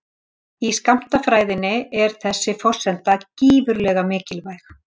Í skammtafræðinni er þessi forsenda gífurlega mikilvæg.